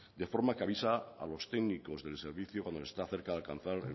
de forma que avisa a los técnicos del servicio cuando se está cerca de alcanzar